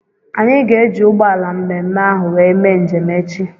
Anyị ga-eji ụgbọala mme mme ahụ wee mee njem echi.